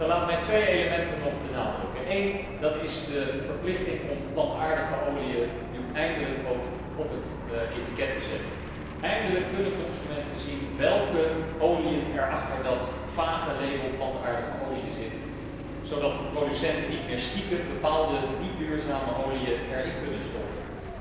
Laat mij twee elementen nog benadrukken. Het eerste is de verplichting om plantaardige oliën nu eindelijk ook op het etiket te vermelden. Eindelijk kunnen consumenten zien welke oliën er achter dat vage label 'plantaardige oliën' zitten, zodat producenten er niet meer stiekem bepaalde niet duurzame oliën in kunnen stoppen.